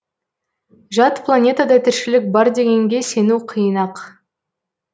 жат планетада тіршілік бар дегенге сену қиын ақ